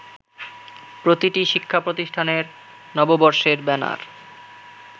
প্রতিটি শিক্ষাপ্রতিষ্ঠানের নববর্ষের ব্যানার